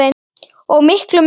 og miklu megna.